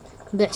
ah fiitamiinada.